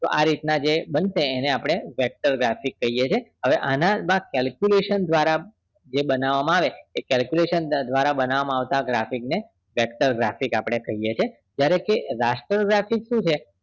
તો આ રીત ના જે બનશે એને આપણે vector graphics કહીએ છીએ હવે આના માં calculation દ્વારા જે બનાવામાં આવે calculation બનાવામાં આવે તો એ graphics ને vector graphics કહીએ છીએ હવે raster graphics શું છે